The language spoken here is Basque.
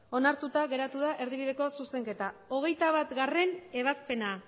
onartuta geratu da erdibideko zuzenketa hogeita batgarrena ebazpena